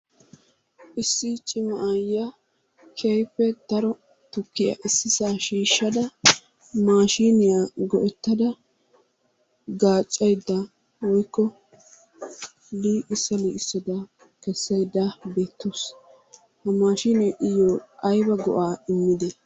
Issi cima aayyiya keehippe daro tukkiya issisaa shiishshada maashiiniya go'ettada gaaccayidda woyikko liiqissa liiqissada kessayidda beettawusu. Ha maashiinee iyyoo ayiba go'aa immide?